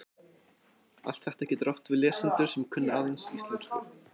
Allt þetta getur átt við lesendur sem kunna aðeins íslensku.